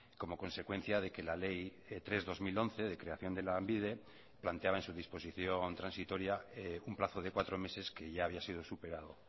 como consecuencia de que la ley tres barra dos mil once de creación de lanbide planteaba en su disposición transitoria un plazo de cuatro meses que ya había sido superado